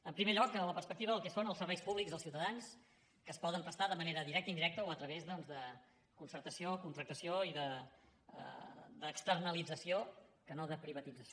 en primer lloc la perspectiva del que són els serveis públics als ciutadans que es poden prestar de manera directa indirecta o a través doncs de concertació contractació i d’externalització que no de privatització